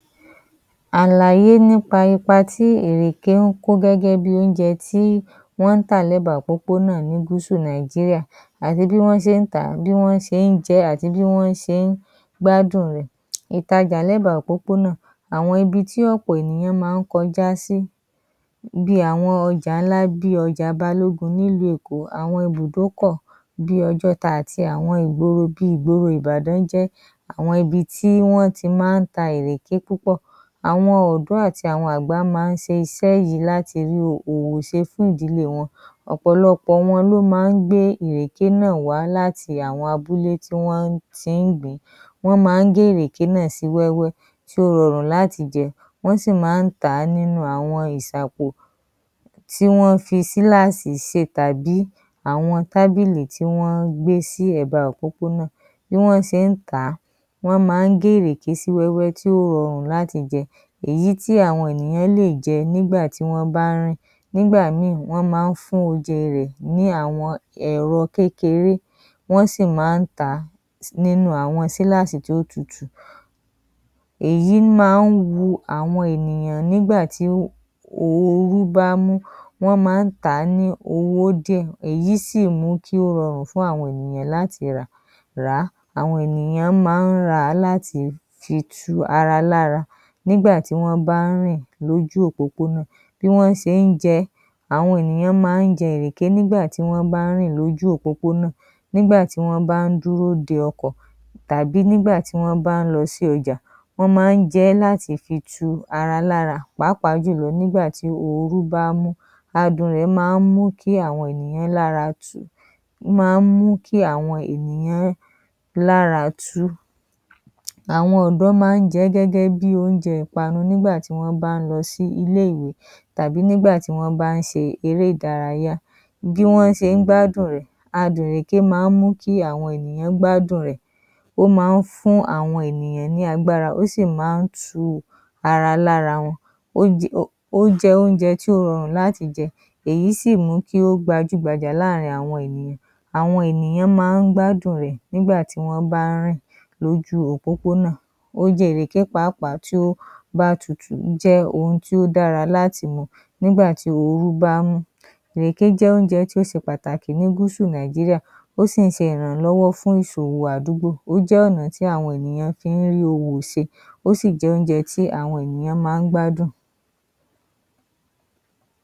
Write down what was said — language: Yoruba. Àlàyé nípa ipa tí ìrèké ń kọ́ gẹ́gẹ́ bíi oúnjẹ tí wọ́n ń tà l'ẹ́ba òpópónà ní gúúsù Nàìjíríà àti bí wọ́n ṣe ń tàa, bíi wọ́n ṣe ń jẹ ẹ́, àti bíi wọ̀n ṣe ń gbádùn rẹ̀. Ìtajà l'ẹ́ba òpópónà, àwọn ibi tí ọ̀pọ̀ ènìyàn maá ń kọjá sí bíi àwọn ọjà ńlá bíi ọjà Balógun ni ìlú Èkó, àwọn ìbùdókọ̀ bíi Ọjọ́ta àti àwọn ìgboro bíi ìgboro Ìbàdàn jẹ́ àwọn ibi tí wọ́n tí maá ń ta ìrèké púpọ̀. Àwọn ọ̀dọ́ àti àwọn àgbà maá ń se isẹ́ yìí láti rí òwò se fún ìdílé wọn. Ọ̀pọ̀lọpọ̀ wọ́n ló maá ń gbé ìrèké náà wá láti oko tí wọ́n tí ń gbìn ín. Wọ́n maá ń gé ìrèké náà sí wéwẹ́ tí ó rọrùn láti jẹ, wọ́n sì maá ń tàá nínú àwọn ìsàpò tí wọ́n fi sílààsì sè tàbí àwọn tábìlì tí wọ́n gbé sí èba òpópónà. Bí wọ́n ṣe ń tàá, wọ́n maá ń gé ìrèké sí wẹ́wẹ́ tí ó rọrùn láti jẹ, èyí tí àwọn ènìyàn lè jẹ nígbà tí wọ́n bá ń rìn, nígbà míì, wọ́n maá ń fún oje rẹ ní àwọn èro kékeré, wọ́n sì maá ń tàá nínú àwọn sílààsì tí ó tutù, èyí maá ń wu àwọn ènìyàn nígbàtí oru bá ń mú, wọ́n maá ń tàá ní owó dìẹ̀, èyí sì mùú kí ó rọrùn fún àwọn ènìyàn láti rà, ràá. Àwọn ènìyàn maá ń ràá láti fi tù ara lára nígbàtí wọ́n bá ń rìn lójú òpópónà, bí wọ́n ṣe ń jẹ ẹ́, àwọn ènìyàn maá ń jẹ ìrèké nígbàtí wọ́n bá ń rìn lójú òpópónà, nígbàtí wọ́n bá ń dúró de ọkọ̀ tàbí nígbà tí wọ́n bá ń lo sí ọjà, wọ́n maá ń jẹ láti fi tu ara lára, pàápàá jùlọ nígbàtí oru bá ń mú. Adùn rẹ̀ maá ń mú kí àwọn ènìyàn lára tù, ó maá ń mú kí àwọn ènìyàn lára tú. Àwọn ìgàn maá ń jẹ ẹ́ gẹ́gẹ́ bíi oúnjẹ ìpanu nígbàtí wọ́n bá ń lo sí ilè ìwé, tàbí nígbàtí wọ́n bá ń se eré ìdárayá, bí wọ́n se ń gbádùn rẹ̀, adùn ìrèké maá ń mú kí àwọn ènìyàn gbádùn rẹ̀, ó maá ń fún àwọn ènìyàn ní agbára, ó sì maá ń tù ara lára wọ́n. Ó ó jẹ́ oúnjẹ tí ó rọrùn láti jẹ, èyí sì mú kí ó gbajú gbajà láàrín àwọn ènìyàn. Àwọn ènìyàn maá ń gbádùn rẹ̀ nígbàtí wọ́n bá ń rìn lójú òpópónà. Oje ìrèké pàápàá tí ó bá tutù jẹ́ ohun tí ó dára láti mu nígbàtí orú bá ń mú. Ìrèké jẹ́ oúnjẹ tí ó se pàtàkì ní gúúsù Nàìjíríà, ó sì ń se ìrànlọ́wọ́ fún ìsòwò àdúgbò, ó jẹ́ ọ̀nà tí àwọn ènìyàn fi ń rí òwò se. Ó sì jẹ́ oúnjẹ tí àwọn ènìyàn maá gbádùn.